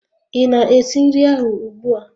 Ị na-esi nri ahụ ugbua?